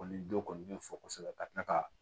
Kɔni don kɔni bɛ fɔ kosɛbɛ ka tila ka